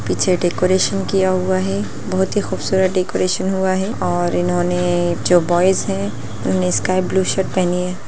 पीछे डेकोरेशन किया हुआ है बोहोत ही खूबसूरत डेकोरेशन हुआ है और इन्होंने जो बॉयज है उन्होंने स्काइ ब्लू शर्ट पहनी है।